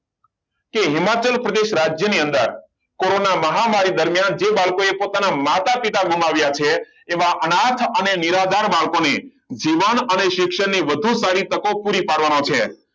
કે હિમાચલ પ્રદેશ રાજ્યની અંદર કોરોના મહામારી દરમિયાન જે બાળકોએ પોતાના માતા પિતા ગુમાવ્યા છે એવા અનેક અનાર્થ અને નિરાધાર બાળકોને જીવન અને શિક્ષણ વધુ સારી તકો પૂરી પાડવાનો છે